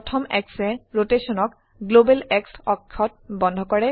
প্ৰথম Xএ ৰোটেশনক গ্লোবেল X অক্ষত বন্ধ কৰে